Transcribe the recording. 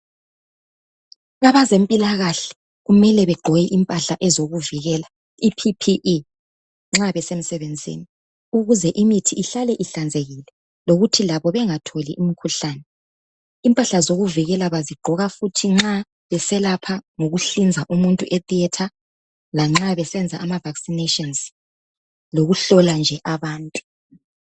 Abezempilakahle kumele begqoke impahla ezokuvikela ippe nxa besemsebenzini ukuze imithi ihlale ihlanzekile lokuthi labo bengatholi umkhuhlane impahla zokuvikela bazigqoka futhi nxa beselapha ngokuhlinza umuntu e theatre lanxa besenza ama vaccinations lokuhlola nje abantu